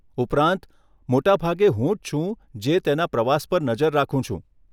ઉપરાંત, મોટાભાગે હું જ છું જે તેના પ્રવાસ પર નજર રાખું છું.